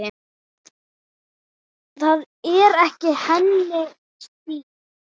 Það er ekki hennar stíll.